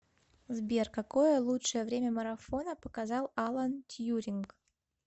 сбер какое лучшее время марафона показал алан тьюринг